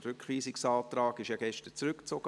Der Rückweisungsantrag wurde gestern zurückgezogen.